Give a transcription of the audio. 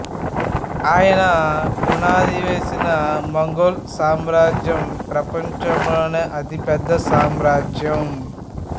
ఆయన పునాదివేసిన మంగోల్ సామ్రాజ్యం ప్రపంచంలో అతి పెద్ద సామ్రాజ్యం